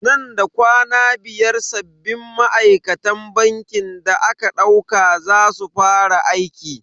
Nan da kwana biyar sabbin ma'aikatan bankin da aka dauka za su fara aiki.